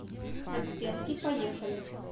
оттенки поехали